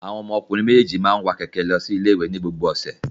Àwọn ọmọkùnrin méjèèjì máa ń wa kẹ̀kẹ́ lọ ilé-ìwé ní gbogbo ọ̀sẹ̀.